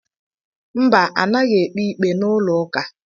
Mba anaghị ekpe ikpe n'ụlọụka